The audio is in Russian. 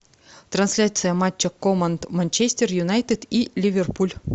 трансляция матча команд манчестер юнайтед и ливерпуль